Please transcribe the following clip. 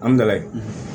An bɛ layi